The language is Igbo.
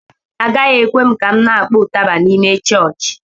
Agaghị ekwe m ka m na-kpọọ ụtaba n'ime chọọchị